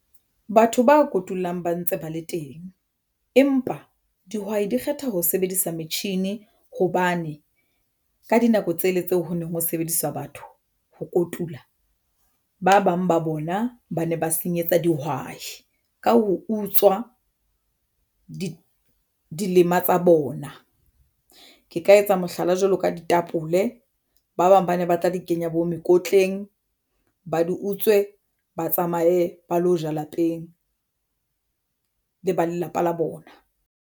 Batho ba kotulang ba ntse ba le teng, empa dihwai di kgetha ho sebedisa metjhini hobane ka dinako tsela tseo ho neng ho sebediswa batho ho kotula ba bang ba bona ba ne ba senyetsa dihwai ka ho utswa di dilema tsa bona ke ka etsa mohlala jwalo ka ditapole ba bang ba ne ba tla di kenya bo mekotleng ba di utswe ba tsamaye ba lo ja lapeng le ba lelapa la bona.